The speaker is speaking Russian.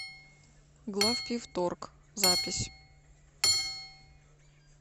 главпивторг запись